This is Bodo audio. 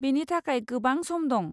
बेनि थाखाय गोबां सम दं।